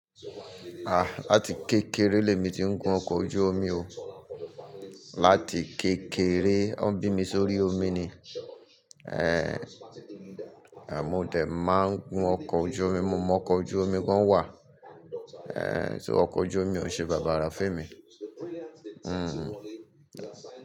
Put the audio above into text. Ah! Láti kékeré lé mi ti ń gun ọkọ̀ ojú omi o. Láti kékeré wọ́n bí mi sórí omi ni. Eh, mò dẹ̀ máa ń gun ọkọ̀ ojú omi, mo mọ ọkọ̀ ojú omi gan wà. Eh, so ọkọ̀ ojú omi ò ṣe bàbàra fún emi? Hmm.